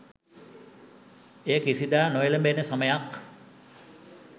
එය කිසිදා නොඑළඹෙන සමයක්